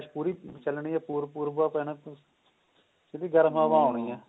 ਪੂਰੀ ਚਲਣੀ ਐ ਭੁਰ ਭੁਰ ਓ ਪੈਣਾ ਫੇਰ ਸਿਧੀ ਗਰਮ ਹਵਾ ਆਉਣੀ ਹੈ